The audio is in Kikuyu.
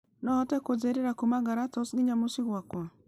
no ũhote kũ njĩrĩra kuuma galitos nginya mũciĩ gwakwa